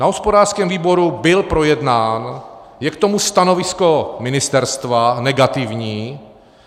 Na hospodářském výboru byl projednán, je k tomu stanovisko ministerstva - negativní.